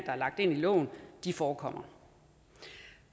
er lagt ind i loven forekommer